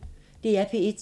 DR P1